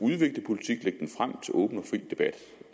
åben debat